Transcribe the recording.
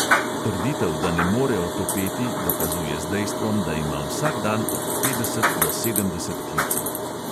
Trditev, da ne more otopeti, dokazuje z dejstvom, da ima vsak dan od petdeset do sedemdeset klicev.